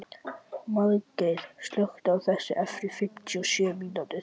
Margeir, slökktu á þessu eftir fimmtíu og sjö mínútur.